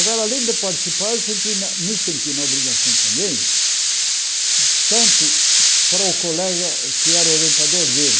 Agora, além de participar, eu senti na me senti na obrigação também, tanto para o colega que era o orientador dele,